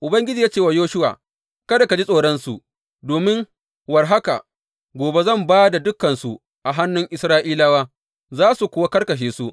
Ubangiji ya ce wa Yoshuwa, Kada ka ji tsoronsu, domin war haka gobe zan ba da dukansu a hannun Isra’ilawa, za su kuwa karkashe su.